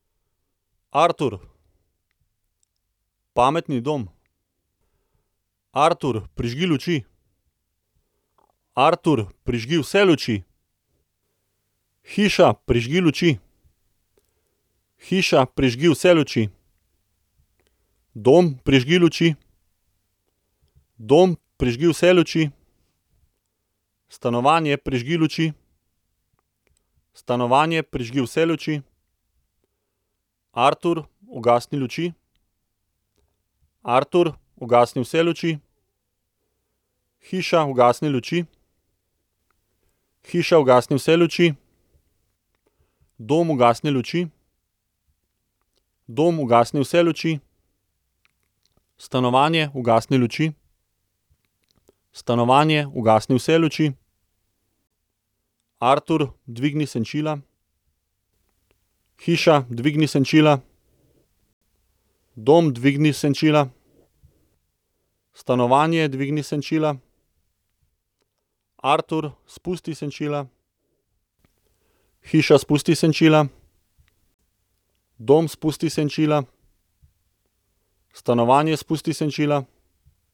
Artur. Pametni dom. Artur, prižgi luči. Artur, prižgi vse luči. Hiša, prižgi luči. Hiša, prižgi vse luči. Dom, prižgi luči. Dom, prižgi vse luči. Stanovanje, prižgi luči. Stanovanje, prižgi vse luči. Artur, ugasni luči. Artur, ugasni vse luči. Hiša, ugasni luči. Hiša, ugasni vse luči. Dom, ugasni luči. Dom, ugasni vse luči. Stanovanje, ugasni luči. Stanovanje, ugasni vse luči. Artur, dvigni senčila. Hiša, dvigni senčila. Dom, dvigni senčila. Stanovanje, dvigni senčila. Artur, spusti senčila. Hiša, spusti senčila. Dom, spusti senčila. Stanovanje, spusti senčila.